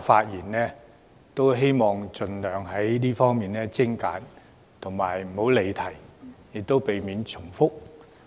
發言要盡量精簡及不要離題，亦要避免重複。